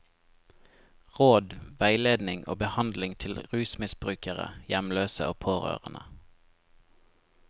Råd, veiledning og behandling til rusmisbrukere, hjemløse og pårørende.